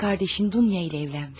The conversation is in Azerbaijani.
Qardaşın Dunya ilə evlənmiş.